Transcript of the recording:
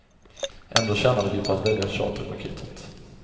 Ändå tjänade vi på att välja charterpaketet.